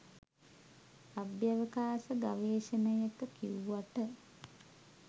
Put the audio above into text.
අභ්‍යවකාශ ගවේෂණයක කිව්වට